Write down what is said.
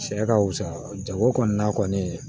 Sɛ ka fusa jago kɔni na kɔni